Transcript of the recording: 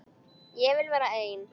Ég vil vera einn.